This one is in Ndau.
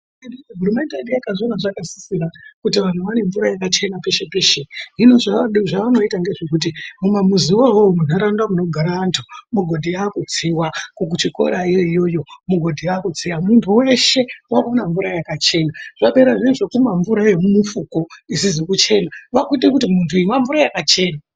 Hurumende yedu yakaona zvakasisira kuti vantu vaone mvura yakachenaa peshe peshe. Hino zvavanoita ngezvekuti mamuamuziwo iwowo mundaraunda munogara vantu migodhi yakutsiwaa, kuchikorayo iyoyo migodhi yakutsiwaa, muntu weshe wakuona mvura yakachena. Zvapera zviya zvokumwaa mvura yemufuku isizi kuchenaa, kwakuite kuti munhu inwaa mvura yakachenaa.